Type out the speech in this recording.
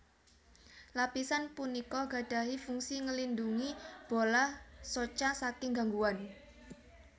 Lapisan punika gadahi fungsi ngélindungi bola soca saking gangguan